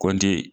Kɔnti